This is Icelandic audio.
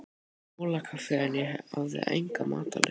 Múlakaffi en ég hafði enga matarlyst.